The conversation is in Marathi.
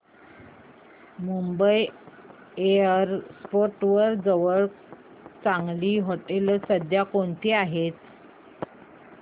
मुंबई एअरपोर्ट जवळ चांगली हॉटेलं सध्या कोणती आहेत